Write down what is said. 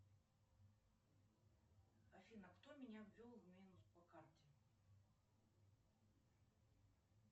афина кто меня ввел в минус по карте